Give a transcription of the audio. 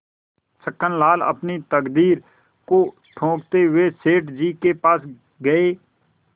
छक्कनलाल अपनी तकदीर को ठोंकते हुए सेठ जी के पास गये